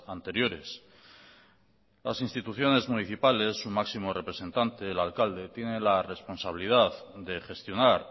anteriores las instituciones municipales su máximo representante el alcalde tiene la responsabilidad de gestionar